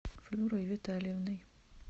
флюрой витальевной